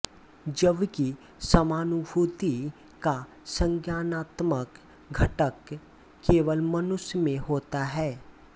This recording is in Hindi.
जबकि समानुभूति का संज्ञानात्मक घटक केवल मनुष्य में होता है